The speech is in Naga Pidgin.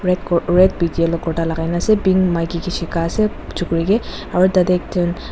red ku uh red with yellow kurta lagai na ase pink maiki ke shikai ase chukiri ke aru tade t--